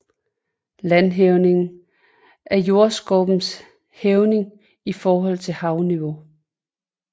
Landhævning er jordskorpens hævning i forhold til havniveau